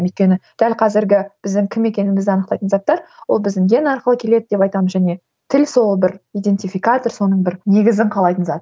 өйткені дәл қазіргі біздің кім екенімізді анықтайтын заттар ол біздің ген арқылы келеді деп айтамын және тіл сол бір идентификатор соның бір негізін қалайтын зат